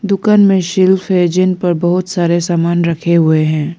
दुकान मे शेल्फ है जिन पर बहुत सारे सामान रखे हुए हैं।